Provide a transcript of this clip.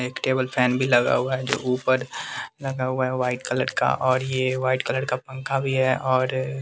एक table fan भी लगा हुआ है जो ऊपर लगा हुआ है वाइट कलर का और ये वाइट कलर का पंखा भी है और --